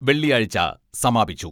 വെള്ളിയാഴ്ച സമാപിച്ചു